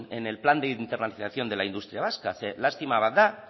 en el plan de internacionalización de la industria vasca zeren lastima bat da